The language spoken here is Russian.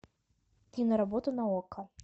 киноработа на окко